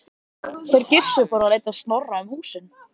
Þeir Gissur fóru að leita Snorra um húsin.